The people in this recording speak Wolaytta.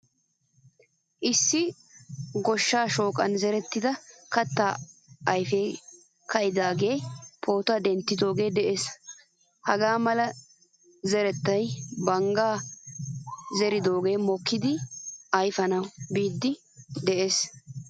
Issi goshshaa shoqqan zerettida katta ayfe kaidi de'iyaaga pootuwaa denttoge de'ees. Hagaa mala zerettay bangga zerettay mokkidi ayfanawu biiddi de'ees.